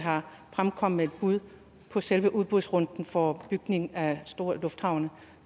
fremkommet med et bud på selve udbudsrunden for bygning af store lufthavne